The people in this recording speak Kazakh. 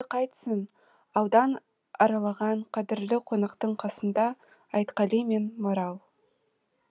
енді қайтсін аудан аралаған қадірлі қонақтың қасында айтқали мен марал